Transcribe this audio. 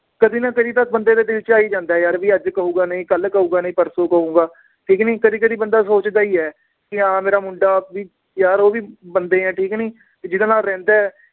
ਕਦੀ ਨਾ ਕਦੀ ਤਾਂ ਬੰਦੇ ਦੇ ਦਿਲ ਚ ਆ ਹੀ ਜਾਂਦਾ ਏ ਯਾਰ ਵੀ ਅੱਜ ਕਹੂਗਾ ਨੀ ਕੱਲ ਕਹੂਗਾ ਨੀ ਪਰਸੋ ਕਹੂਗਾ ਠੀਕ ਨੀ, ਕਦੀ ਕਦੀ ਬੰਦਾ ਸੋਚਦਾ ਹੀ ਏ ਕਿ ਹਾਂ ਮੇਰਾ ਮੁੰਡਾ ਵੀ ਯਾਰ ਉਹ ਵੀ ਬੰਦੇ ਏ ਠੀਕ ਨੀ ਵੀ ਜਿਹਦੇ ਨਾਲ ਰਹਿੰਦਾ ਏ